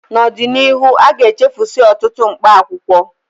N'ọdịnihu, aga-echefusi ọtụtụ mkpaakwụkwọ